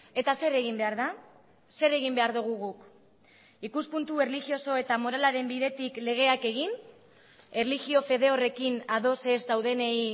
eta zer egin behar da zer egin behar dugu guk ikuspuntu erlijioso eta moralaren bidetik legeak egin erlijio fede horrekin ados ez daudenei